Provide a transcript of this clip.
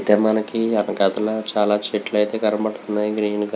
ఇక్కడ అయతె మనకి వెనకాతల చాల చెట్లు అయతె కనబడుతున్నాయి గ్రీన్ క --